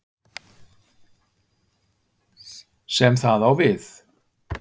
sem það á við.